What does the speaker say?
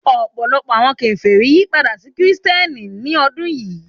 Ọpọlọpọ awọn keferi yipada si Kristiẹniti ni ọdun yii